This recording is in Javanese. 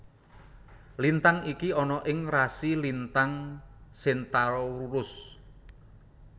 Lintang iki ana ing rasi lintang Centaurus